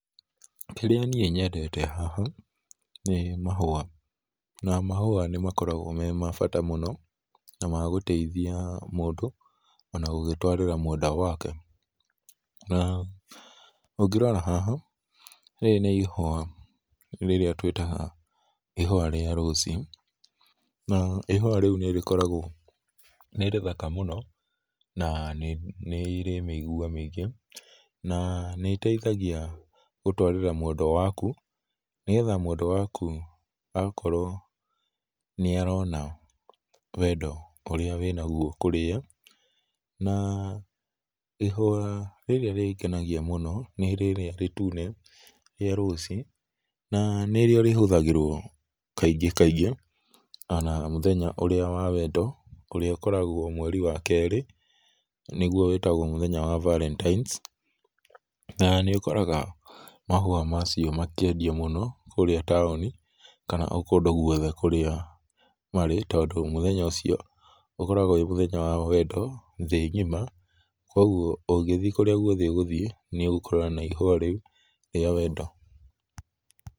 Kĩrĩa niĩ nyendete haha nĩ mahũa na mahũa nĩ makoragwo me ma bata mũno na magũteĩthĩa mũndũ ona gũgĩtwarĩra mwendwa wake, na ũngĩrora haha rĩrĩ nĩ ihũa rĩrĩa twĩtaga ihũa rĩa rose na ihũa rĩũ nĩ rĩkoragwo nĩ rĩthaka mũno na nĩ ĩrĩ mĩigũa mĩngĩ, na nĩiteithagĩa gũtwarĩra mwenda wakũ nĩ getha mwendwa wakũ agakorwo nĩarona wendo ũrĩa wĩnagũo kũrĩ ye, na ihũa rĩrĩa rĩgenagĩa mũno nĩ rĩrĩa rĩtũne rĩa rose na nĩrĩo rĩhũthagĩrwo kaĩngĩ kaĩngĩ ona mũthenya ũrĩa wa wendo ũrĩa ũkoragwo mwerĩ wa kerĩ nĩgũo wĩtagũo mũthenya wa valentines, na nĩ ũkoraga mahũa macio makĩendĩo mũno kũrĩa tauni kana o kondũ gwothe o kũrĩa marĩ tondũ mũthenya ũcio ũkoragwo wĩ mũthenya wa wendo thĩ ngĩma kwogwo ũgĩthiĩ kũrĩa gwothe ũgũthiĩ nĩ ũgũkorana na ihũa rĩũ rĩa wendo.